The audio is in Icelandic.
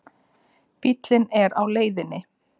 Bíllinn er á leiðinni.